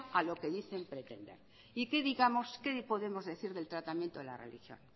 a lo que dicen pretender y qué podemos decir del tratamiento de la religión